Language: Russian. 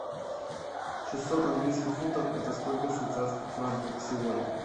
шестьсот английских фунтов это сколько швейцарских франков сегодня